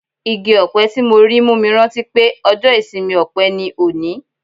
Igi-ọpẹ tí mo rí mú mi rántí pé ọjọ́ ìsinmi ọpẹ ni òní.